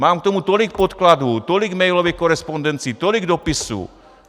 Mám k tomu tolik podkladů, tolik mailové korespondence, tolik dopisů.